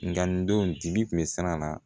Nga nin don dibi kun bɛ siran a na